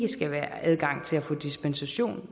skal være adgang til at få dispensation